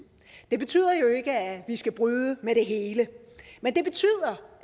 det betyder jo ikke at vi skal bryde med det hele men det betyder